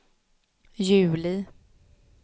juli